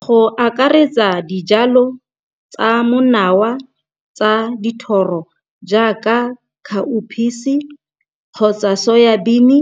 Go akaretsa dijalo tsa monawa tsa dithoro jaaka khaophisi kgotsa soyabini